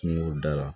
Kungo da la